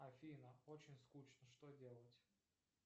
афина очень скучно что делать